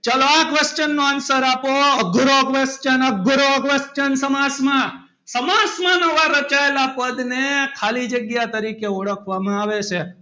ચલો આ question ના answer આપો અઘરો question અઘરો question સમાસમાં, સમાસમાં નવા રચાયેલાં પદ ને ખાલી જગ્યા કરી છે ઓળખવામાં આવે છે.